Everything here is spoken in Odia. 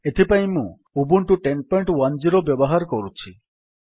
ଏଥିପାଇଁ ମୁଁ ଉବୁଣ୍ଟୁ 1010 ବ୍ୟବହାର କରୁଛି